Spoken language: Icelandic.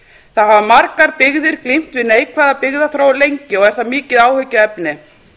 það hafa margar byggðir glímt lengi við neikvæða byggðaþróun og er það mikið áhyggjuefni